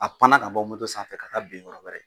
A panna ka bɔ moto sanfɛ ka taa bin yɔrɔ wɛrɛ.